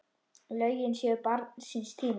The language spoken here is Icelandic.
Lögin séu barn síns tíma.